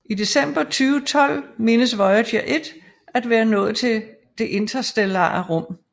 I december 2012 menes Voyager 1 at være nået det interstellare rum